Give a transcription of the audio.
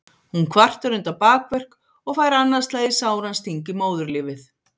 Hún kvartar undan bakverk og fær annað slagið sáran sting í móðurlífið.